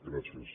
gràcies